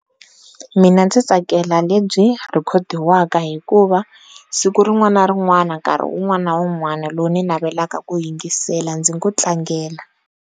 Mina ndzi tsakela lebyi rhekhodiwaka hikuva siku rin'wana na rin'wana, nkarhi wun'wana na wun'wana lowu ni navelaka ku yingisela ndzi ngo tlangela.